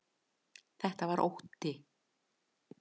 Þetta var ótti.